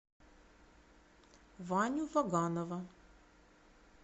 ваню ваганова